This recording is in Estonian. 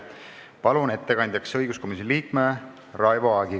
Palun ettekandjaks õiguskomisjoni liikme Raivo Aegi.